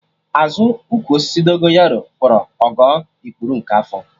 Azụ ụkwụ osisi Dogonyaro gwọrọ Ogo ikpuru nke afọ